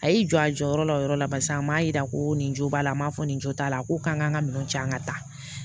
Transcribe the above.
A y'i jɔ a jɔyɔrɔ la o yɔrɔ la barisa an m'a yira ko nin jo b'a la n m'a fɔ nin jo t'a la ko k'an ka minɛn cɛn an ka taa